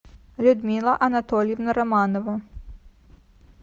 людмила анатольевна романова